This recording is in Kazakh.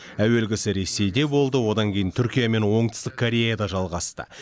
әуелгісі ресейде болды одан кейін түркия мен оңтүстік кореяда жалғасты